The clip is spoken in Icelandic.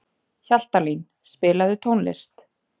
Hjaltalín, spilaðu tónlist.